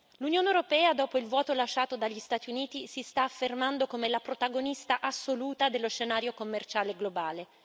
L'Unione europea, dopo il vuoto lasciato dagli Stati Uniti, si sta affermando come la protagonista assoluta sullo scenario commerciale globale.